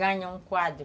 Ganha um quadro.